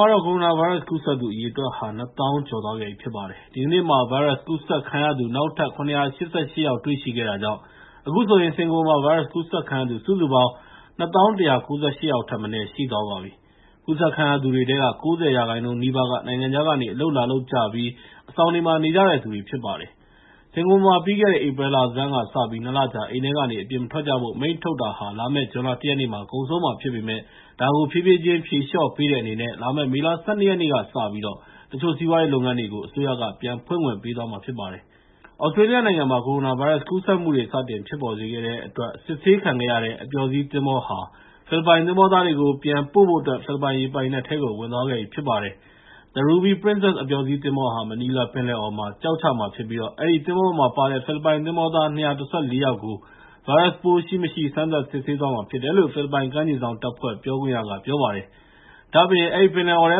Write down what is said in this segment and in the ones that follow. ှာတော့ ကိုရိုနာဗိုင်းရပ်စ် ကူးစက်သူအရေအတွက်ဟာ ၂၀,၀၀၀ ကျော်သွားခဲ့ပြီဖြစ်ပါတယ်။ ဒီကနေ့မှာ ဗိုင်းရပ်စ်ကူးစက်ခံရသူ နောက်ထပ် ၇၈၈ ယောက် တွေ့ရှိခဲ့တာကြောင့် အခုဆိုရင် စင်ကာပူမှာ ဗိုင်းရပ်စ်ကူးစက်ခံရသူ စုစုပေါင်း ၂၀,၁၉၈ ယောက်ထက်မနည်းရှိသွားပါပြီ။ ကူးစက်ခံရသူတွေထဲက ၉၀ ရာခိုင်နှုန်း နီးပါးက နိုင်ငံခြားကနေ အလုပ်လာလုပ်ပြီး အဆောင်မှာ နေကြတဲ့သူတွေဖြစ်ပါတယ်။ စင်ကာပူမှာ ပြီးခဲ့တဲ့ ဧပြီလဆန်းကစပြီး ၂ လကြာ အိမ်ထဲကနေ အပြင်မထွက်ကြဖို့ အမိန့်ထုတ်တာဟာ လာမယ့် ဇွန်လ ၁ ရက်နေ့မှာ ကုန်ဆုံးမှာဖြစ်ပေမဲ့ ဒါကို ဖြည်းဖြည်းချင်း ဖြေလျှော့ပေးတဲ့အနေနဲ့ လာမယ့် မေလ ၁၂ ရက်နေ့ကစပြီး တချို့စီးပွားရေးလုပ်ငန်းတွေကို အစိုးရက ပြန်ဖွင့်ခွင့်ပေးသွားမှာ ဖြစ်ပါတယ်။ သြစတြေးလျနိုင်ငံမှာ ကိုရိုနာဗိုင်းရပ်စ်ကူးစက်မှုတွေကို စတင်ဖြစ်ပေါ်စေခဲ့တဲ့အတွက် စစ်ဆေးခံခဲ့ရတဲ့ အပျော်စီးသင်္ဘောဟာ ဖိလစ်ပိုင်သင်္ဘောသားတွေကို ပြန်ပို့ဖို့အတွက် ဖိလစ်ပိုင်ရေပိုင်နက်ထဲကို ဝင်သွားခဲ့ပြီဖြစ်ပါတယ်။ The Ruby Princess အပျော်စီးသင်္ဘောဟာ မနီလာပင်လယ်အော်မှာ ကျောက်ချမှာဖြစ်ပြီး အဲဒီသင်္ဘောပေါ်မှာပါတဲ့ ဖိလစ်ပိုင် သင်္ဘောသား ၂၁၄ ယောက်ကို ဗိုင်းရပ်စ်ပိုးရှိ၊ မရှိ စမ်းသပ်စစ်ဆေးသွားမှာဖြစ်တယ်လို့ ဖိလစ်ပိုင်ကမ်းခြေစောင့်တပ်ဖွဲ့ ပြောခွင့်ရကပြောပါတယ်။ ဒါ့အပြင် အဲဒီပင်လယ်အော်ထဲ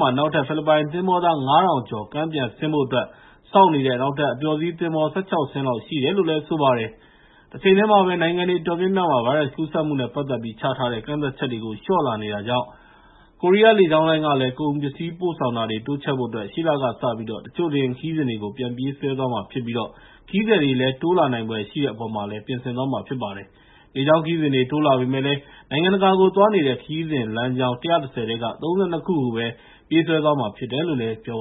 မှာပဲ နောက်ထပ် ဖိလစ်ပိုင်သင်္ဘောသား ၅,၀၀၀ ကျော် ကမ်းပြန်ဆင်းဖို့အတွက် စောင့်နေတဲ့ နောက်ထပ် အပျော်စီး သင်္ဘော ၁၆ စင်းလောက်ရှိတယ်လို့လည်း ပြောပါတယ်။ တချိန်တည်းမှာပဲ နိုင်ငံအတော်များများမှာ ဗိုင်းရပ်စ်ကူးစက်မှုနဲ့ပတ်သက်ပြီး ချထားတဲ့ ကန့်သတ်ချက်တွေကို လျှော့ချလာနေတာကြောင့် ကိုရီးယားလေကြောင်းလိုင်းလည်း ကုန်ပစ္စည်းပို့ဆောင်တာတွေကို တိုးချဲ့ဖို့အတွက် ရှေ့လကစပြီး တချို့လေယာဉ်ခရီးစဉ်တွေကို ပြန်ပြေးဆွဲသွားမှာဖြစ်ပြီး ခရီးသည်တွေ တိုးလာနိုင်ဖွယ်ရှိတဲ့အပေါ်မှာလည်း ပြင်ဆင်သွားမှာဖြစ်ပါတယ်။ လေကြောင်းခရီးစဉ်တွေ တိုးလာပေမဲ့လည်း နိုင်ငံတကာကိုသွားနေတဲ့ ခရီးစဉ်လမ်းကြောင်း ၁၁၀ ထဲက ၃၂ ခုကိုပဲ ပြေးဆွဲသွားမှာဖြစ်တယ်လို့ ပြောပါ